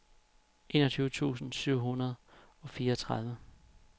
enogtyve tusind syv hundrede og fireogtredive